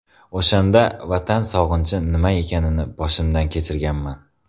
O‘shanda Vatan sog‘inchi nima ekanini boshimdan kechirganman.